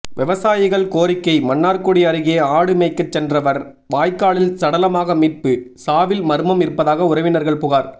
விவசாயிகள் கோரிக்கை மன்னார்குடி அருகே ஆடு மேய்க்க சென்றவர் வாய்க்காலில் சடலமாக மீட்பு சாவில் மர்மம் இருப்பதாக உறவினர்கள் புகார்